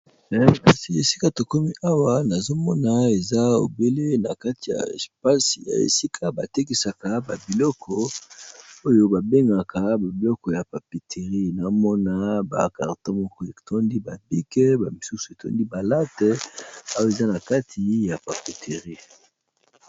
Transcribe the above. Kasi esika tokomi awa nazo mona eza obele na kati ya espace ya esika ba tekisaka ba biloko oyo ba bengaka ba biloko ya papeterie. Na mona ba carton moko etondi ba bic, ba misusu etondi ba late, awa eza na kati ya papeterie.